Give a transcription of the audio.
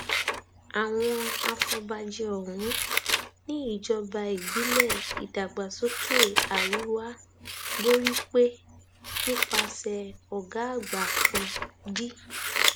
àwọn afọbajẹ ọhún ni ìjọba ìbílẹ ìdàgbàsókè àríwá borípé nípasẹ ọgá àgbà kan d